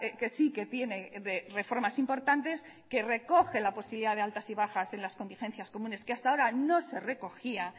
que sí que tiene reformas importantes que recoge la posibilidad de altas y bajas en las contingencias comunes que hasta ahora no se recogía